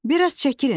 Bir az çəkilin.